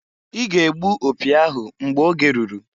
I ga -egbu opi ahụ mgbe oge ruru!